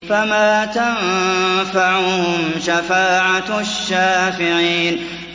فَمَا تَنفَعُهُمْ شَفَاعَةُ الشَّافِعِينَ